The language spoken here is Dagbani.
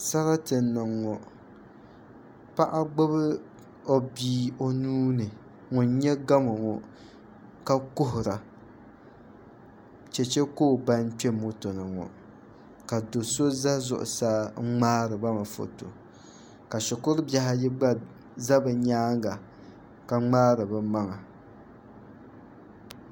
sarati n-niŋ ŋɔ paɣa gbubi o bia o nuu ni ŋun nyɛ gamo ŋɔ ka kuhira cheche ka o ban kpe moto ni ka do' so ʒe zuɣusaa n-ŋmaari ba mi foto ka shikuru bihi ayi gba za bɛ nyaanga ka ŋmaari bɛ maŋa